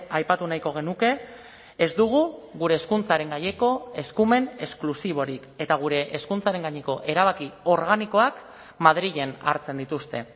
aipatu nahiko genuke ez dugu gure hezkuntzaren gaineko eskumen esklusiborik eta gure hezkuntzaren gaineko erabaki organikoak madrilen hartzen dituzte